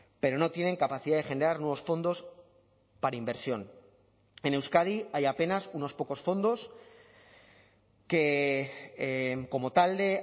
pero no tienen capacidad de generar nuevos fondos para inversión en euskadi hay apenas unos pocos fondos que como talde